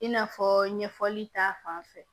I n'a fɔ ɲɛfɔli ta fan fɛ